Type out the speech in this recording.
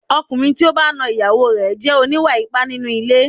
Ọkùnrin tí ó bá ń na ìyàwó ẹ jẹ́ oníwà ipá nínú ilé.